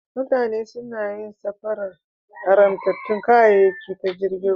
Mutane suna yin safarar haramtattun kayayyaki ta jirgin ruwa.